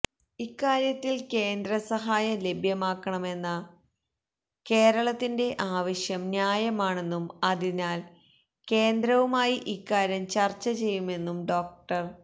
ഇക്കാര്യത്തില് കേന്ദ്ര സഹായം ലഭ്യമാക്കണമെന്ന കേരളത്തിന്റെ ആവശ്യം ന്യായമാണെന്നും അതിനാല് കേന്ദ്രവുമായി ഇക്കാര്യം ചര്ച്ച ചെയ്യുമെന്നും ഡോ